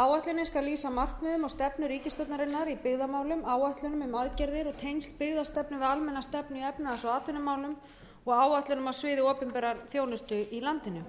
áætlunin skal lýsa markmiðum og stefnu ríkisstjórnarinnar í byggðamálum áætlunum um aðgerðir og tengsl byggðastefnu við almenna stefnu í efnahags og atvinnumálum og áætlunum á sviði opinberrar þjónustu í landinu